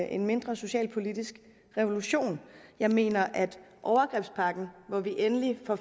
en mindre socialpolitisk revolution jeg mener at overgrebspakken hvor vi endelig får